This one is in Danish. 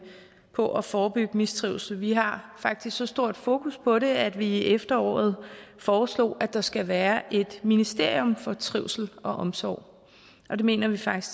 på at forebygge mistrivsel vi har faktisk så stort fokus på det at vi i efteråret foreslog at der skal være et ministerium for trivsel og omsorg og det mener vi faktisk